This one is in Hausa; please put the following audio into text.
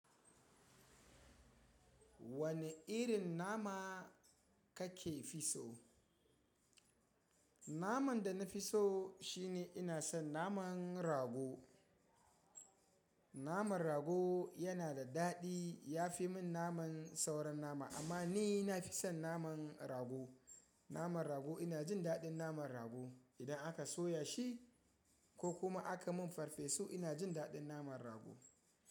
Wane irin nama kake fi so? Naman da na fi so shine ina son naman rago. Naman rago yana da daɗi ya fi min naman sauran nama amma ni na fi son naman rago. Naman rago ina jin daɗin naman rago idan aka soya shi ko kuma aka min farfesu ina jin daɗin naman rago.